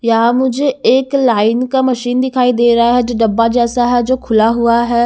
यहां मुझे एक लाइन का मशीन दिखाई दे रहा है जो डब्बा जैसा है जो खुला हुआ है।